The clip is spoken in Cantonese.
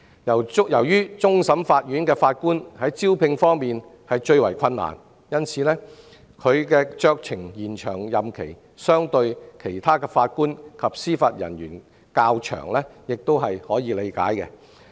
由於終審法院法官最難招聘，其可酌情延長的任期相對其他法官及司法人員較長亦可理解。